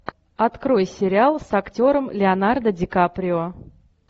открой сериал с актером леонардо ди каприо